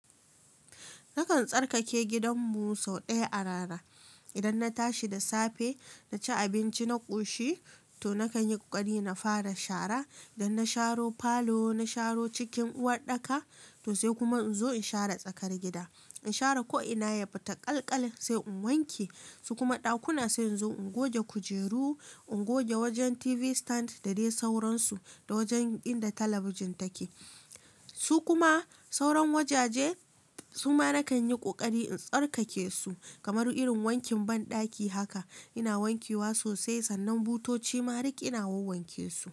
Nakan tsarkake gidanmu sau ɗaya a rana. Idan na tashi da safe, na ci abinci, na ƙoshi to nakan yi ƙoƙari na fara shara. Dan na sharo falo, na sharo cikin uwarɗaka to sai kuma in zo in share tsakar gida. In share ko ina ya fita ƙalƙal sai in wanke su kuma ɗakuna sai in zo ingoge kujeru, ingoge wajen TV stand da dai sauransu da wajen inda talabijin take. Su kuma sauran wajaje suma nakan yi ƙoƙari in tsarkake su kamar irin wankin banɗaki haka. Ina wanke wa sosai sannan butoci marig ina wanke su.